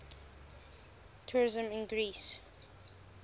tourism in greece